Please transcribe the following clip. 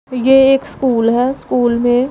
ये एक स्कूल है स्कूल में--